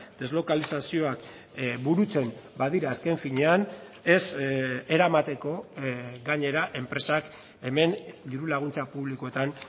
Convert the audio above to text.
deslokalizazioak burutzen badira azken finean ez eramateko gainera enpresak hemen diru laguntza publikoetan